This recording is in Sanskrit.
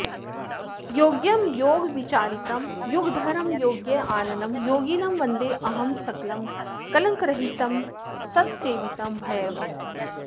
योग्यं योगविचारितं युगधरं योग्याननं योगिनं वन्देऽहं सकलं कलङ्करहितं सत्सेवितं भैरवम्